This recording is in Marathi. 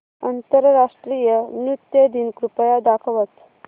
आंतरराष्ट्रीय नृत्य दिन कृपया दाखवच